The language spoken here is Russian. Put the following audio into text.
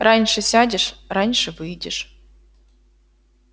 раньше сядешь раньше выйдешь